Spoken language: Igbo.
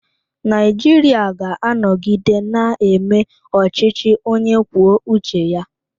Naijiria ga-anọgide na-eme ọchịchị onye kwuo uche ya.